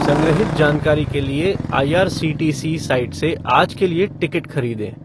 संग्रहित जानकारी के लिए I. R. C. T. C. Site से आज के लिए टिकट खरीदें